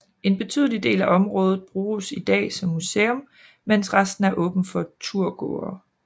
En betydelig del af området bruges i dag som museum mens resten er åbent for turgåere